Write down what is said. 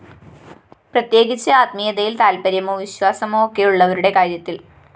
പ്രത്യേകിച്ച് ആത്മീയതയില്‍ താല്‍പര്യമോ വിശ്വാസമോ ഒക്കെ ഉള്ളവരുടെ കാര്യത്തില്‍